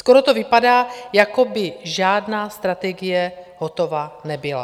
Skoro to vypadá, jako by žádná strategie hotova nebyla.